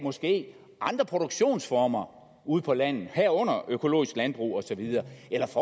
andre produktionsformer ude på landet herunder økologisk landbrug og så videre